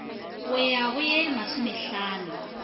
go ya go ye masomehlano